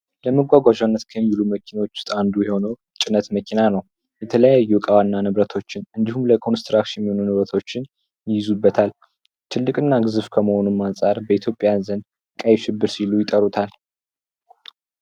ለመጓጓዣነት ከሚውሉ መኪኖች ውስጥ አንዱ የሆነው የጭነት መኪና ነው። ትልቅ እና ግዙፍ ከመሆኑም አንፃር በኢትዮጵያውያን ዘንድ ቀይሽብር እያሉ ይጠሩታል።